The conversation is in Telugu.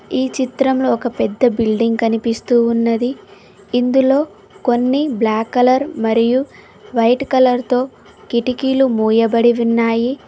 ఈ చిత్రంలో ఒక పెద్ద బిల్డింగ్ కనిపిస్తూ ఉన్నది ఇందులో కొన్ని బ్లాక్ కలర్ మరియు వైట్ కలర్ తో కిటికీలు మూయబడి ఉన్నాయి.